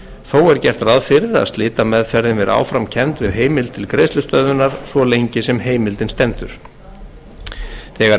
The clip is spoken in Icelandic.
þó er gert ráð fyrir að slitameðferðin verði áfram kennd við heimild til greiðslustöðvunar svo lengi sem heimildin stendur þegar heimild